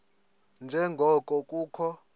nje ngoko kukho